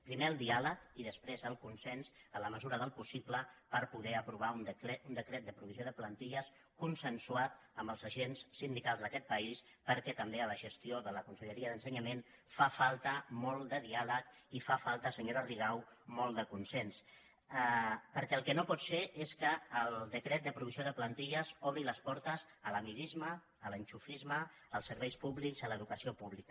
primer el diàleg i després el consens en la mesura del possible per poder aprovar un decret de provisió de plantilles consensuat amb els agents sindi·cals d’aquest país perquè també en la gestió de la con·selleria d’ensenyament fa falta molt de diàleg i fa fal·ta senyora rigau molt de consens perquè el que no pot ser és que el decret de provisió de plantilles obri les portes a l’amiguisme a l’ enxufisme als serveis públics a l’educació pública